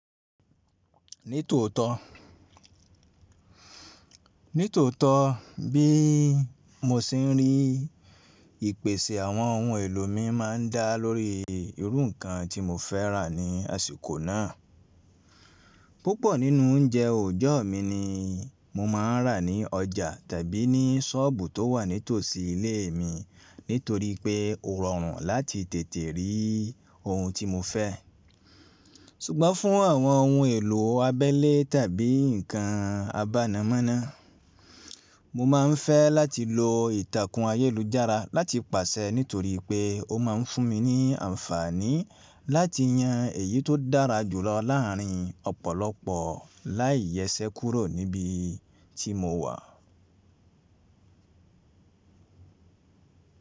Ní tòótọ́, ní tòótọ́ bí mo ṣe ń rí ìpèsè àwọn ohun èlò mi máa ń dá lórí irú nǹkan tí mo fẹ́ rà ní àsìkò náà. Púpọ̀ nínú oúnjẹ ọjọ́ mi ni mo máa ń rà ní ọjà tàbí ní ṣọ́ọ̀bù tó wà nítòsí ilé mi nítorí pé ó rọrùn láti tètè rí ohun tí mo fẹ́. Ṣùgbọ́n fún àwọn ohun èlò abẹ́lé tàbí nǹkan abánámọ́ná, mo máa ń fẹ́ láti lo ìtàkùn ayélujára láti pàṣẹ nítorí pé ó máa ń fún mi ní àǹfààní láti yan èyí tó dára jù lọ láàrin ọ̀pọ̀lọpọ̀ láì yẹsẹ́ kúrò níbi tí mo wà.